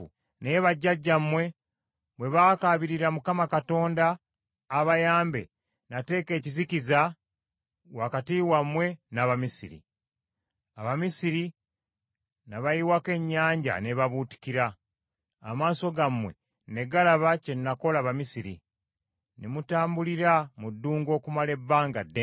Naye bajjajjammwe bwe baakaabirira Mukama Katonda abayambe, nateeka ekizikiza wakati wammwe n’Abamisiri; Abamisiri n’abayiwako ennyanja n’ebabuutikira. Amaaso gammwe ne galaba kye nakola Abamisiri; ne mutambulira mu ddungu okumala ebbanga ddene.